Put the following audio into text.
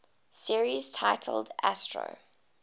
series titled astro